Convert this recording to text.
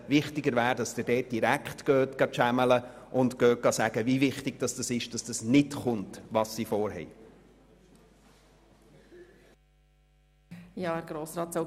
Wichtiger ist, dass Sie sie direkt «channeln» und ihnen mitteilen, wie wichtig es ist, dass dieses Vorhaben nicht zustande kommt.